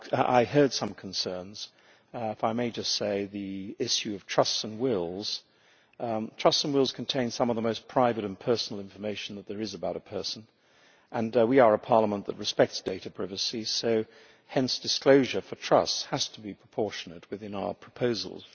I heard some concerns and if I may just say on the issue of trusts and wills trusts and wills contain some of the most private and personal information that there is about a person, and we are a parliament that respects data privacy, hence disclosure for trusts has to be proportionate within our proposals.